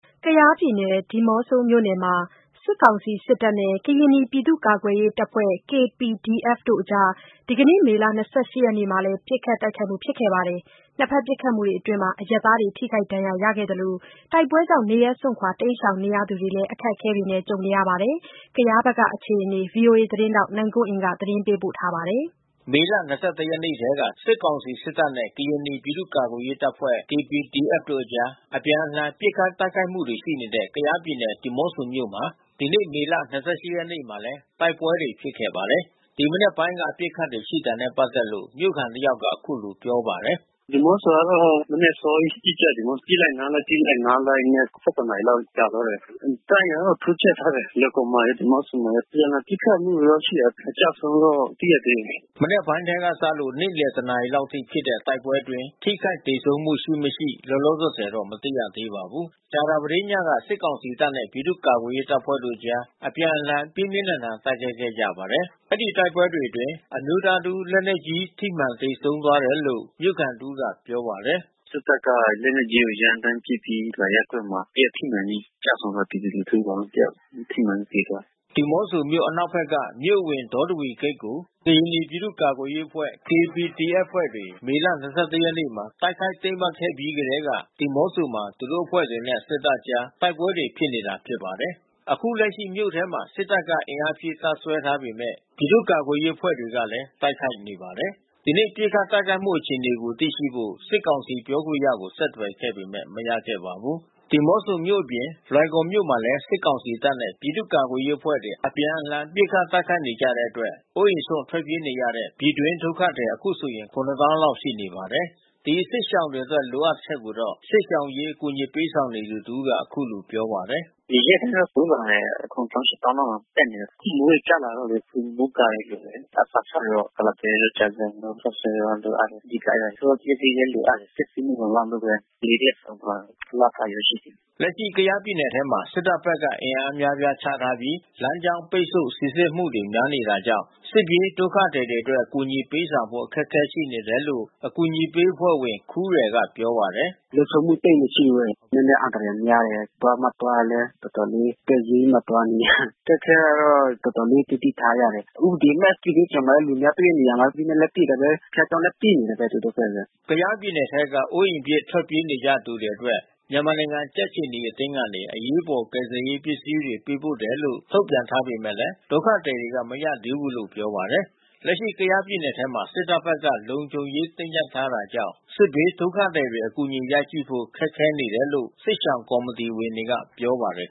ကယားပြည်နယ် ဒီးမော့ဆိုမြို့နယ်မှာ စစ်ကောင်စီစစ်တပ်နဲ့ ကရင်နီပြည်သူ့ကာကွယ်ရေးတပ်ဖွဲ့ (KPDF) တို့အကြား ဒီနေ့ မေလ ၂၈ ရက်နေ့မှာလည်း ပစ်ခတ်တိုက်ခိုက်ကြပါတယ်။ နှစ်ဖက်ပစ်ခတ်မှုအတွင်းအရပ်သားတွေ ထိခိုက်ဒဏ်ရာရခဲ့သလို တိုက်ပွဲတွေကြောင့် နေရပ်စွန့်ခွာ တိမ်းရှောင်နေသူတွေမှာလည်း အခက်အခဲတွေ ဖြစ်နေကြပါတယ်။ ကယားဖက်ကအခြေအနေကို ဗွီအိုအေသတင်းထောက် နိုင်ကွန်းအိန်က သတင်းပေးပို့ထားပါတယ်။ မေလ ၂၁ ရက်နေ့ထဲက စစ်ကောင်စီစစ်တပ်နဲ့ ကရင်နီပြည်သူ့ကာကွယ်ရေးတပ်ဖွဲ့ KPDF တို့အကြား အပြန်အလှန် ပစ်ခတ်တိုက်ခိုက်မှုတွေရှိနေတဲ့ ကယားပြည်နယ် ဒီးမော့ဆိုမြို့မှာ ဒီနေ့ မေလ ၂၈ ရက်နေ့မှာလည်း မနက်ပိုင်းကတည်းက ပစ်ခတ်တာတွေရှိခဲ့တယ်လို့ မြို့ခံတယောက်က ပြောပါတယ်။ "ဒီးမော့ဆိုကတော့မနက်အစောကြီးပစ်ကြတယ်။ ပစ်လိုက်နားလိုက် ပစ်လိုက်နားလိုက်နဲ့ ၁၁ နာရီလောက်ကြာသွား တယ်။ တပ်အင်အားတော့တိုးချဲ့ထားတယ် လွိုင်ကော်မှာရော ဒီးမော့ဆိုမှာရော။ အပြန်လှန်ပစ်ခတ်မှုတော့ရှိတယ်။ အကျဆုံးတော့မသိရသေးဘူး။" မနက်ပိုင်းထဲကစလို့ နေ့လည် ၁ နာရီလောက်အထိဖြစ်တဲ့ တိုက်ပွဲတွေအတွင်း ထိခိုက်သေဆုံးမှု ရှိမရှိ လောလောဆယ်တော့ မသိရသေးပါဘူး။ ကြာသပတေးညကလဲ စစ်ကောင်စီတပ်နဲ့ ပြည်သူ့ကာကွယ်ရေးတပ်ဖွဲ့ကြား အပြန်အလှန် ပြင်းပြင်းထန်ထန် တိုက်ခိုက်ခဲ့ကြပါတယ်။ အဲဒီတိုက်ပွဲတွေအတွင်း အမျိုးသားတစ်ဦး လက်နက်ကြီး ထိမှန်သေဆုံးသွားတယ်လို့ မြို့ခံတဦးကပြောပါတယ်။ "စစ်တပ်က လက်နက်ကြီးနဲ့ ရမ်းသန်းပစ်ခတ်ပြီး အောင်မင်္ဂလာရပ်ကွက်မှာ တယောက်ထိမှန်ပြီးကျဆုံးသွားတယ်။ ပြည်သူ လူထုတယောက်။ ထိမှန်ပြီးသေသွားတယ်။" ဒီးမော့ဆိုမြို့ အနောက်ဖက်က မြို့အဝင် ဒေါတဝီဂိတ်ကို ကရင်နီ ပြည်သူ့ကာကွယ်ရေးအဖွဲ့ KPDF အဖွဲ့ဝင်တွေ မေလ ၂၁ ရက်နေ့မှာ တိုက်ခိုက် သိမ်းပိုက်ခဲ့ပြီးကတည်းက ဒီးမော့ဆိုမှာ သူတို့အဖွဲ့တွေနဲ့ စစ်တပ်ကြား တိုက်ပွဲတွေဖြစ်နေတာပါ။ အခုလက်ရှိ မြို့ထဲမှာ စစ်တပ်က အင်အားဖြည့် တပ်စွဲထားပေမဲ့ ပြည်သူ့ကာကွယ်ရေးအဖွဲ့တွေကလည်း တိုက်ခိုက်နေပါတယ်။ ဒီနေ့ပစ်ခတ်တိုက်ခိုက်မှုအခြေအနေကိုသိရှိဖို့ စစ်ကောင်စီပြောခွင့်ရကိုဆက်သွယ်ပေမဲ့ မရခဲ့ပါဘူး။ ဒီးမော့ဆိုမြို့အပြင် လွိုင်ကော်မြို့မှာလည်း စစ်ကောင်စီတပ်နဲ့ ပြည်သူ့ကာကွယ်ရေးအဖွဲ့တွေ အပြန်အလှန် ပစ်ခတ်တိုက်ခိုက်နေကြတဲ့အတွက် အိုးအိမ်စွန့် ထွက်ပြေးနေကြရတဲ့ ပြည်တွင်းဒုက္ခသည် အခုဆို ၇၀,၀၀၀ လောက် ရှိနေပါတယ်။ ဒီစစ်ရှောင်တွေအတွက်လိုအပ်ချက်ကိုတော့ စစ်ရှောင်အရေးအကူညီပေးဆောင်နေသူတဦးက အခုလိုပြောပါတယ်။ "ဒီရက်ဘက်တိုးလာတယ်။ ၇၀,၀၀၀၊ ၈၀,၀၀၀ လောက်တက်နေတယ်။ မိုးတွေကျလာလို့လေ မိုးကာတွေလိုအပ်တယ်။ အစာခြောက်တွေကတော့ ကုလားပဲတို့ကြာဇံတို့ ခေါက်ဆွဲတို့လိုအပ်နေတယ်။ ဆေးပစ္စည်းလဲလိုအပ်နေတယ်။ ပစ္စည်းမလုံလောက်လို့ဘဲ ကလေးတယောက်ဆုံးသွားတယ်။ လပိုင်းဘဲရှိတယ်။" လက်ရှိ ကယားပြည်နယ်ထဲမှာ စစ်တပ်ဘက်က အင်အားအများအပြားချပြီး လမ်းကြောင်းပိတ်ဆို့ စိစစ်မှုတွေ များနေတာကြောင့် စစ်ပြေးဒုက္ခသည်တွေအတွက် အကူညီပေးဆောင်ဖို့ အခက်ခဲတွေရှိနေတယ်လို့ အကူညီပေးအဖွဲ့ဝင် ခူးရယ်ကပြောပါတယ်။ "လုံခြုံမှုသိပ်မရှိဘူး။ နည်းနည်းအန္တရာယ်များတယ်။ သွားမှသွားရင်လည်း တော်တော်လေး အသက်ရင်းပြီးမှသွားနေရတယ်။ အခက်ခဲကတော့ တော်တော်လေးသတိထားရတယ်။ စစ်ဘေးရှောင်လာတဲ့သူတွေလည်း တွေ့တဲ့နေရာမှာ ဥပဒေမဲ့ လက်နက်နဲ့ပစ်တာပဲ။ ဘုရားကျောင်းလည်း ပစ်နေတာပဲ သူတို့ဘက်က။" ကယားပြည်နယ်ထဲက အိုးအိမ်ပစ် ထွက်ပြေးနေကြရသူတွေအတွက် မြန်မာနိုင်ငံကြက်ခြေနီအသင်းကနေ အရေးပေါ် ကယ်ဆယ်ရေးပစ္စည်းတွေ ပေးပို့တယ်လို့ ထုတ်ပြန်ထားပေမဲ့ ဒုက္ခသည်တွေက မရသေးဘူးလို့ ပြောပါတယ်။ လက်ရှိကယားပြည်နယ်ထဲမှာ စစ်တပ်ဘက်က လုံခြုံရေးတင်းကြပ်ထားတာကြောင့် စစ်ဘေးဒုက္ခသည်တွေ အကူအညီရနိုင်ဖို့ ခက်ခဲနေတယ်လို့ စစ်ရှောင်ကော်မတီဝင်တွေကပြောပါတယ်